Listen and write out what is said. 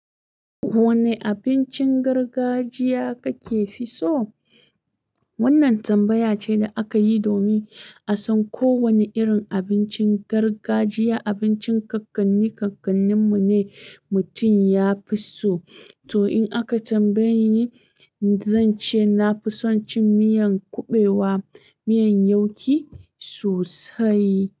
Wane abincin gargajiya kake fi so? Wannan tambaya ce da aka yi domin a san ko wane irin abincin gargajiya, abincin ƙanƙanni ƙanƙannin mu ne mutum ya fi so. To in aka tambaye ni, zan ce na fi son cin miyan kuɓewa, miyan yauki sosai.